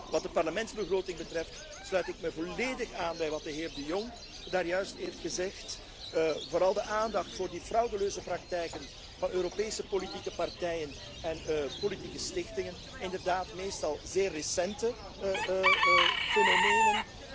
zaak is. Wat de Parlementsbegroting betreft, sluit ik me volledig aan bij wat de heer De Jong daarjuist heeft gezegd, vooral wat betreft de aandacht voor de frauduleuze praktijken van Europese politieke partijen en politieke stichtingen inderdaad meestal zeer recente fenomenen.